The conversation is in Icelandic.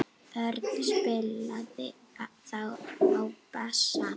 Örn spilaði þá á bassa.